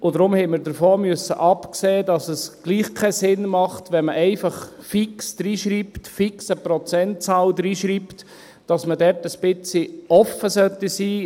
Deswegen mussten wir davon absehen, da es trotzdem keinen Sinn ergibt, wenn man einfach eine fixe Prozentzahl hineinschreibt, sondern man sollte dort ein bisschen offen sein.